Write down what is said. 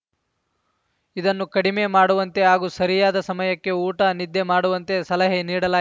ಇದನ್ನು ಕಡಿಮೆ ಮಾಡುವಂತೆ ಹಾಗೂ ಸರಿಯಾದ ಸಮಯಕ್ಕೆ ಊಟ ನಿದ್ದೆ ಮಾಡುವಂತೆ ಸಲಹೆ ನೀಡಲಾ